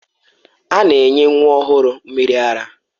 A na-enye nwa ọhụrụ mmiri ara.